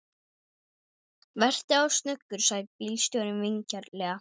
Vertu þá snöggur, sagði bílstjórinn vingjarnlega.